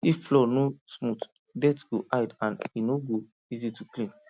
if floor no smooth dirt go hide and e no go easy to clean